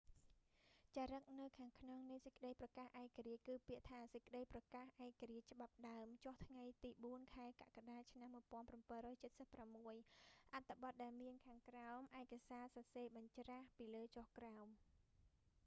ចារឹកនៅខាងខ្នងនៃសេចក្តីប្រកាសឯករាជ្យ គឺពាក្យថា សេចក្តីប្រកាសឯករាជ្យច្បាប់ដើម ចុះថ្ងៃទី4 ខែកក្កដា ឆ្នាំ1776 អត្ថបទដែលមានខាងក្រោមឯកសារ សរសេរបញ្ច្រាស់ពីលើចុះក្រោម